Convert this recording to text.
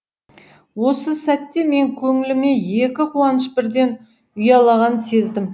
осы сәтте мен көңіліме екі қуаныш бірден ұялағанын сездім